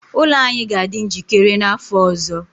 ụlọ anyị ga-adị njikere n'afọ ọzọ